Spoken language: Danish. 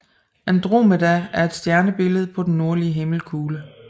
Andromeda er et stjernebillede på den nordlige himmelkugle